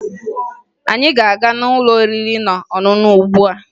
Anyị na-aga n'ụlọ oriri na ọṅụṅụ ugbua